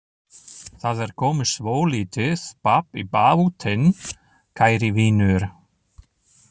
Það er komið svolítið babb í bátinn, kæri vinur.